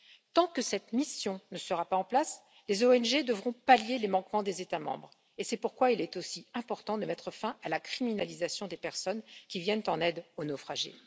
Tant que cette mission ne sera pas en place, les ONG devront pallier les manquements des États membres, c'est pourquoi il est aussi important de mettre fin à la criminalisation des personnes qui viennent en aide aux naufragés.